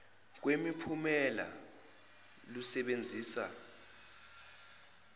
kwemi phumela lusebenzisa